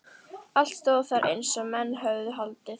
Allt stóð þar eins og menn höfðu haldið.